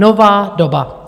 Nová doba.